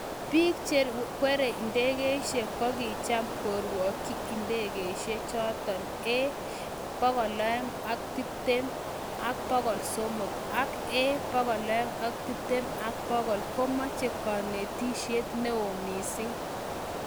Biik chekweryei ndegeishekkokicham kogweryei ndageishek cheno A220-300 akA220-100 komameche kanetisyek neoo misiing